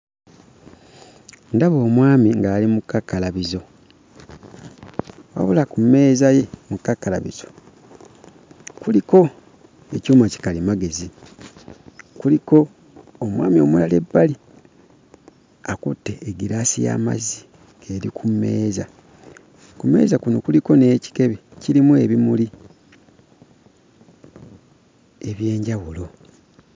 Ndaba omwami ng'ali mu kakkalabizo wabula ku mmeeza ye mu kakkalabizo kuliko ekyuma kikalimagezi, kuliko omwami omulala ebbali akutte eggiraasi y'amazzi eri ku mmeeza. Ku mmeeza kuno kuliko n'ekikebe kirimu ebimuli eby'enjawulo.